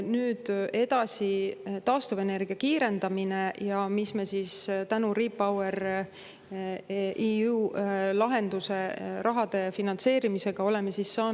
Nüüd edasi, taastuvenergia kiirendamine ja mis me tänu REPowerEU lahenduse rahale, finantseerimisele oleme saanud ära teha.